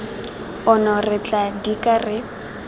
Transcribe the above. ono re tla dika re